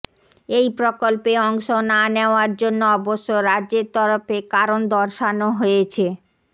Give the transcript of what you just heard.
এই প্রকল্পে অংশ না নেওয়ার জন্য অবশ্য এরাজ্যের তরফে কারণ দর্শানো হয়েছে